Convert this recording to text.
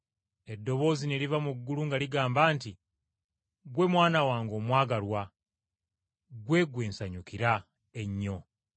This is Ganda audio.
Eddoboozi ne liva mu ggulu nga ligamba nti, “Ggwe Mwana wange omwagalwa, ggwe, gwe nsanyukira ennyo.”